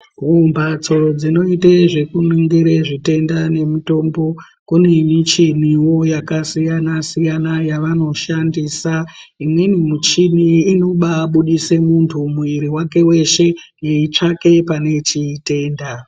Mumbatso dzinoite zvekuningire zvitenda nemutombo, kune michiniwo yakasiyana-siyana yevanoshandisa. Imweni muchini inobaabudise muntu muiri wake weshe, yeitsvake pane chitenda.